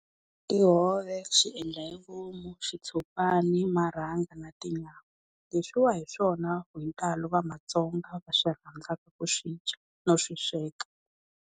Tihove, swiendla hi vomu, xitshopani, marhanga na tinyawa, leswiwa hi swona hi ntalo va maTsonga va swi rhandzaka ku swidya no swi sweka.